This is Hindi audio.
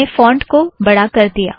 मैंने फ़ोंट को बढ़ा कर दिया